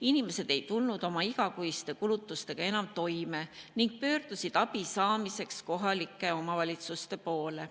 Inimesed ei tulnud oma igakuiste kulutustega enam toime ning pöördusid abi saamiseks kohalike omavalitsuste poole.